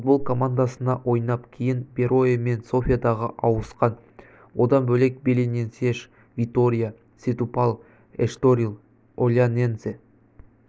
футбол командасында ойнап кейін берое мен софиядағы ауысқан одан бөлек белененсеш витория сетубал эшторил олянензе